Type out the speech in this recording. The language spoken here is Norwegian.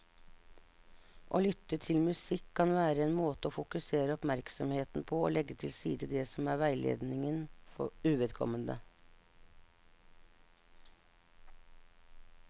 Å lytte til musikk kan være en måte å fokusere oppmerksomheten på og legge til side det som er veiledningen uvedkommende.